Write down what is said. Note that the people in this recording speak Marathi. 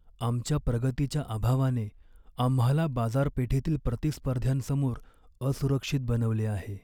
आमच्या प्रगतीच्या अभावाने आम्हाला बाजारपेठेतील प्रतिस्पर्ध्यांसमोर असुरक्षित बनवले आहे.